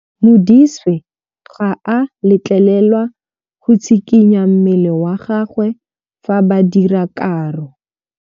Modise ga a letlelelwa go tshikinya mmele wa gagwe fa ba dira karô.